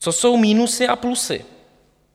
Co jsou minusy a plusy?